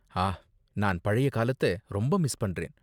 ஆ, நான் பழைய காலத்த ரொம்ப மிஸ் பண்றேன்.